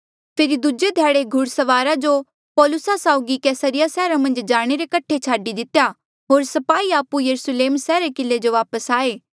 फेरी दूजे ध्याड़े घुड़सवारा जो पौलुसा साउगी कैसरिया सैहरा मन्झ जाणे रे कठे छाडी दितेया होर स्पाही आपु यरुस्लेम सैहरा रे किले जो वापस आये